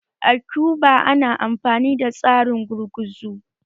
A Cuba ana amfani da tsarin gurguzu